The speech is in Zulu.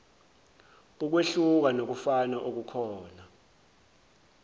ukwehluka nokufana okukhona